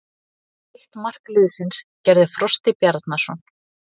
Hitt mark liðsins gerði Frosti Bjarnason.